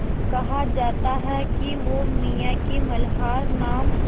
कहा जाता है कि वो मियाँ की मल्हार नाम